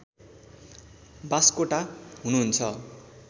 बास्कोटा हुनुहुन्छ